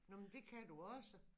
Nå men dét kan du også